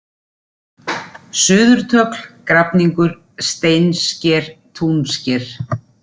Suðurtögl, Grafningur, Steinsker, Túnsker